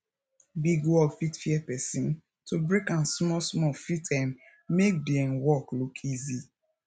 big work fit fear person to break am small small fit um make di um work look easy